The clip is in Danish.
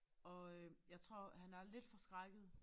Og øh jeg tror han er lidt forskrækket